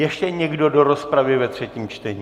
Ještě někdo do rozpravy ve třetím čtení?